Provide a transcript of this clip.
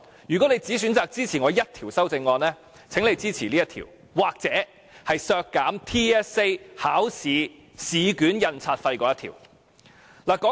如果你只選擇支持我一項修正案，請你支持這一項，或有關削減全港性系統評估考試試卷印刷費的修正案。